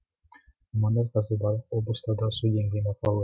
мамандар қазір барлық облыстардағы су деңгейін бақылап